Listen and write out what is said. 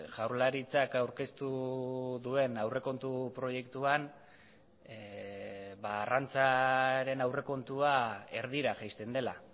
jaurlaritzak aurkeztu duen aurrekontu proiektuan arrantzaren aurrekontua erdira jaisten dela